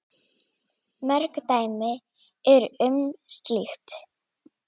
Mörg dæmi eru um slíkt.